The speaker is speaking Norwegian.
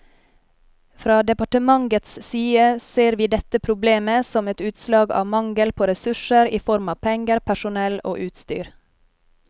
Fra departementets side ser vi dette problemet som et utslag av mangel på ressurser i form av penger, personell og utstyr.